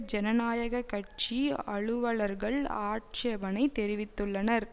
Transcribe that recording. ஜனநாயக கட்சி அலுவலர்கள் ஆட்சேபனை தெரிவித்துள்ளனர்